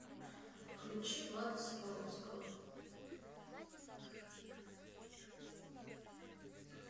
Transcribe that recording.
включи влада соколовского